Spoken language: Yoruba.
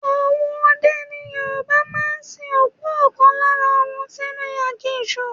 Àwọn ọdẹ ni Yorùbá máa ń sin òkú ọ̀kan lára wọn sínú aginjù.